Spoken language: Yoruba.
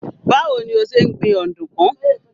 Báwo ni o ṣe ń gbin ọ̀dùnkún?